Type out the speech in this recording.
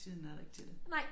Tiden er der ikke til det